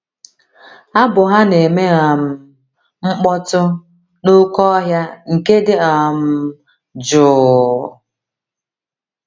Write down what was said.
Abụ ha na - eme um mkpọtụ n’oké ọhịa nke dị um jụụ..